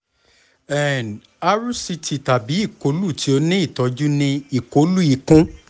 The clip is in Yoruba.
um rct tabi ikolu ti o ni itọju ni ikolu ikun